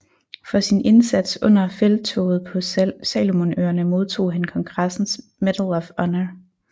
For sin indsats under Felttoget på Salomonøerne modtog han kongressens Medal of Honor